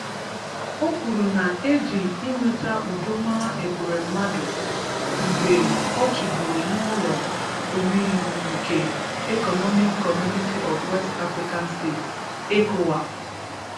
O kwuru na e ji iweta udo mara Ekweremadu mgbe ọ chịburu n'ụlọ omeiwu nke 'Economic Community of West African States (Ecowas)'.